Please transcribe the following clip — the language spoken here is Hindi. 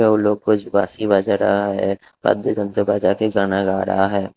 और लोग को बासी बजा रहा है दंत्र बजा के गाना गा रहा है।